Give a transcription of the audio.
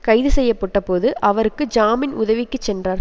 கைது செய்ய பட்ட போது அவருக்கு ஜாமீன் உதவிக்கு சென்றார்